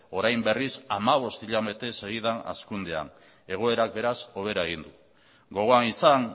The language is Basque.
orain berriz hamabost hilabete segidan hazkundean egoerak beraz hobera egin du gogoan izan